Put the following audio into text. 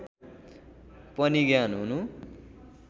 पनि ज्ञान हुनु